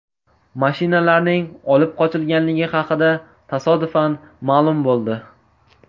Mashinalarning olib qochilganligi haqida tasodifan ma’lum bo‘ldi.